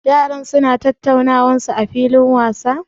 Yaran su na tattaunawan su a filin wasa?